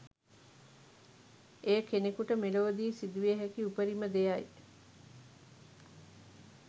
එය කෙනෙකුට මෙලොවදී සිදු විය හැකි උපරිම දෙයයි.